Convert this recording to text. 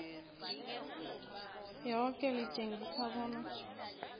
yoke litjengise bona